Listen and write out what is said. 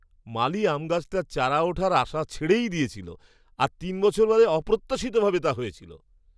মালি আম গাছটার চারা ওঠার আশাই ছেড়ে দিয়েছিল, আর তিন বছর পরে অপ্রত্যাশিতভাবে তা হয়েছিল।